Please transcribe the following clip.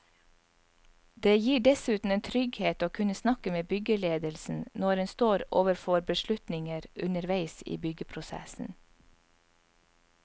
Det gir dessuten en trygghet å kunne snakke med byggeledelsen når en står overfor beslutninger underveis i byggeprosessen.